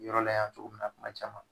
Yɔrɔ la yan cogo min na tuma caman.